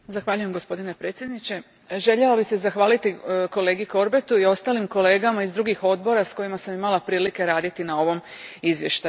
Gospodine predsjedniče, željela bih se zahvaliti kolegi Corbettu i ostalim kolegama iz drugih odbora s kojima sam imala prilike raditi na ovom izvješću.